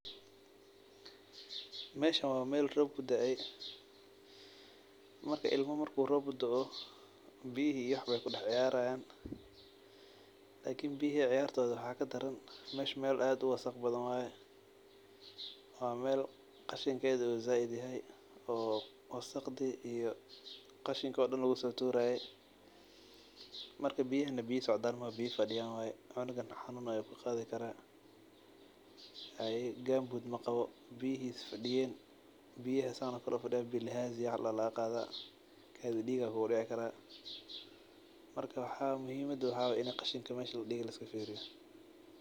Meeshan wa meel rob kudaey marka ilmo marku rob udao biyihi ayey kucayarayan marka biyhi wax kadaran meesha meel wasaq badan waye oo wa meel qashinkeda zaid yahay wa meel qashinko daan lugusoturaye marka biyahan biyo socdan maaha wa biyo fadiyan waye cungana xanun ayu kaqadi kara haye gambut mqawo biyihi fadiyen oo sidan ufadiyan bilhazia wax ladoho lagaqadi kara kadii diig kugudici kara marka muhiimada waxa waye biyaha sidan oo kale inii laiskafiriyo.